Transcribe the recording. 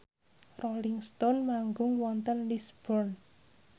Rolling Stone manggung wonten Lisburn